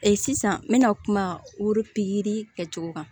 sisan n mɛna kuma woro pikiri kɛcogo kan